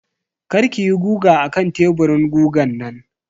kar kiyi guga akan teburin gugan nan.